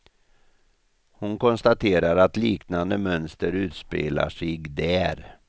Hon konstaterar att liknande mönster utspelar sig där.